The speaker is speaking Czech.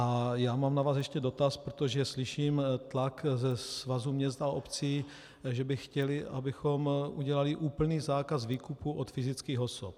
A já mám na vás ještě dotaz, protože slyším tlak ze Svazu měst a obcí, že by chtěly, abychom udělali úplný zákaz výkupu od fyzických osob.